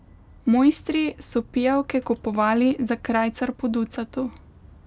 Moistri so pijavke kupovali za krajcar po ducatu.